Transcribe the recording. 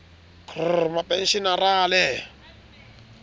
k h r mapenshenara le